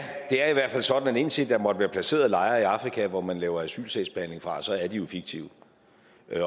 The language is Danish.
det er i hvert fald sådan at indtil der måtte være placeret lejre i afrika hvor man laver asylsagsbehandling fra så er de jo fiktive